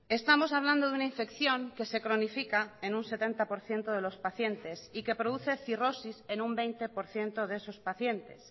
estamos hablando de una infección que se cronifica en un setenta por ciento de los pacientes y que produce cirrosis en un veinte por ciento de esos pacientes